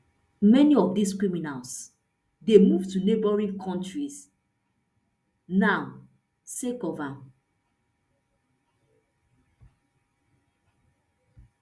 many of dis criminals dey move to neighbouring kontries now sake of am